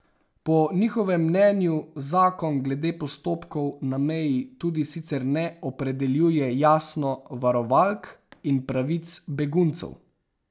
Po njihovem mnenju zakon glede postopkov na meji tudi sicer ne opredeljuje jasno varovalk in pravic beguncev.